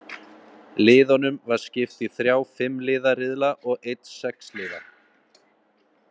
Liðunum var skipt í þrjá fimm liða riðla og einn sex liða.